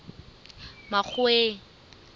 makgoweng